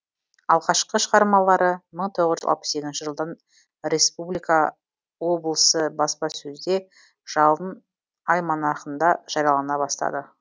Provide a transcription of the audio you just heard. алғашқы шығармалары мың тоғыз жүз алпыс сегізінші жылдың республика облысы баспасөзде жалын альманахында жариялана бастады